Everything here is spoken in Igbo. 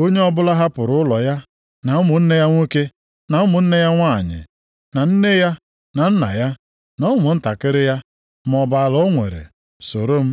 Onye ọbụla hapụrụ ụlọ ya, na ụmụnne ya nwoke, na ụmụnne ya nwanyị, na nne ya na nna ya, na ụmụntakịrị ya, maọbụ ala o nwere, soro m,